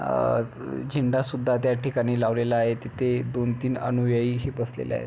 अ झेंडा सुद्धा त्या ठिकाणी लावलेला आहे तिथे दोन तीन अनुयायी ही बसलेले आहेत.